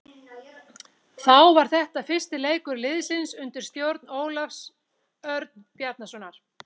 Þá var þetta fyrsti leikur liðsins undir stjórn Ólafs Örn Bjarnasonar.